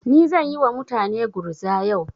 Ni zan yi wa mutane gurza yau.